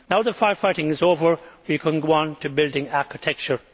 now that the fire fighting is over we can go on to building architecture.